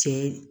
Cɛ